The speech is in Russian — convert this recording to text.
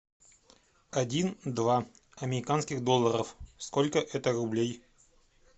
один два американских долларов сколько это рублей